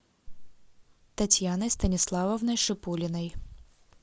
татьяной станиславовной шипулиной